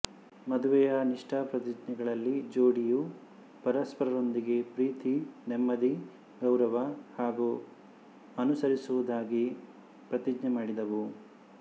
ಮದುವೆಯ ನಿಷ್ಠಾಪ್ರತಿಜ್ಞೆಗಳಲ್ಲಿ ಜೋಡಿಯು ಪರಸ್ಪರರೊಂದಿಗೆ ಪ್ರೀತಿ ನೆಮ್ಮದಿ ಗೌರವ ಹಾಗು ಅನುಸರಿಸುವುದಾಗಿ ಪ್ರತಿಜ್ಞೆ ಮಾಡಿದವು